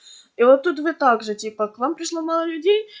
и вот тут вы также типа к вам пришло мало людей